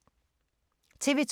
TV 2